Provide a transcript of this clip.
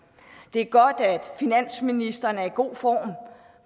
det er godt at finansministeren er i god form